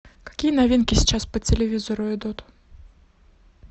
какие новинки сейчас по телевизору идут